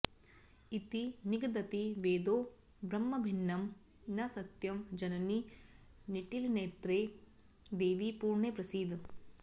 इति निगदति वेदो ब्रह्मभिन्नं न सत्यं जननि निटिलनेत्रे देवि पूर्णे प्रसीद